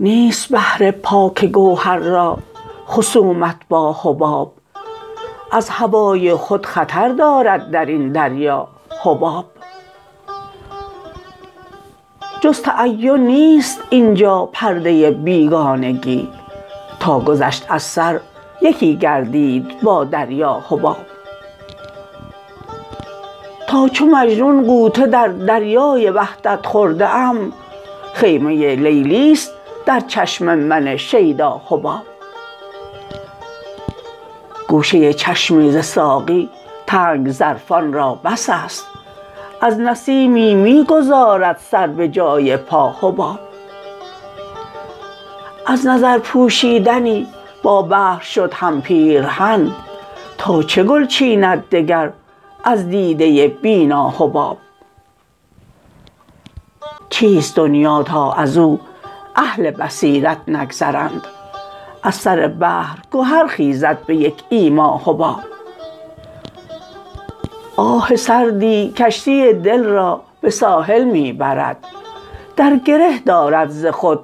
نیست بحر پاک گوهر را خصومت با حباب از هوای خود خطر دارد درین دریا حباب جز تعین نیست اینجا پرده بیگانگی تا گذشت از سر یکی گردید با دریا حباب تا چو مجنون غوطه در دریای وحدت خورده ام خیمه لیلی است در چشم من شیدا حباب گوشه چشمی ز ساقی تنگ ظرفان را بس است از نسیمی می گذارد سر به جای پا حباب از نظر پوشیدنی با بحر شد هم پیرهن تا چه گل چیند دگر از دیده بینا حباب چیست دنیا تا ازو اهل بصیرت نگذرند از سر بحر گهر خیزد به یک ایما حباب آه سردی کشتی دل را به ساحل می برد در گره دارد ز خود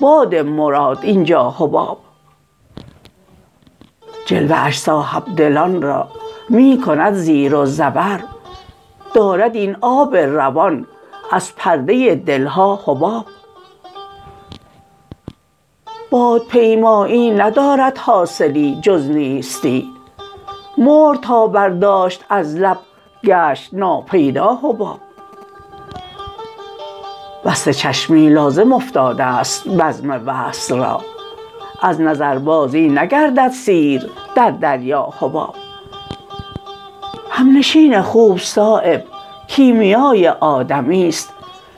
باد مراد اینجا حباب جلوه اش صاحبدلان را می کند زیر و زبر دارد این آب روان از پرده دلها حباب بادپیمایی ندارد حاصلی جز نیستی مهر تا برداشت از لب گشت ناپیدا حباب بسته چشمی لازم افتاده است بزم وصل را از نظر بازی نگردد سیر در دریا حباب همنشین خوب صایب کیمیای آدمی است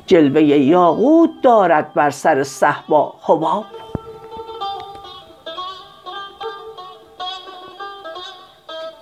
جلوه یاقوت دارد بر سر صهبا حباب